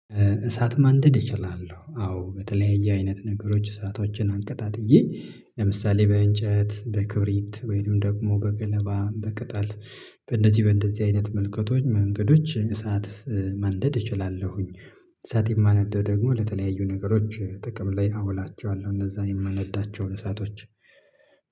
እሳት ማንደድ እችላለሁ አዎ በተለያየ አይነት ነገሮች እሳቶችን አቀጣጥዬ ለምሳሌ በእንጨት በክሪብት ወይንም ደግሞ በገለባ በቅጣል በእንደዚህ በእንደዚህ አይነት መልእክቶች መንገዶች እሳት መንደድ እችላለሁኝ። እሳት የማነደው ደግሞ ለተለያዩ ነገሮች ጥቅም ላይ አውላቸዋለሁ እነዚያን የማነዳቸው እሳቶች።